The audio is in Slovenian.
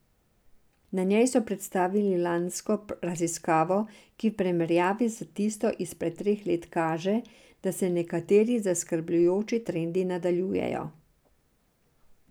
Na njej so predstavili lansko raziskavo, ki v primerjavi s tisto izpred treh let kaže, da se nekateri zaskrbljujoči trendi nadaljujejo.